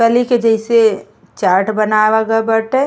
कलि के जइसे चार्ट बनावल गइल बाटे।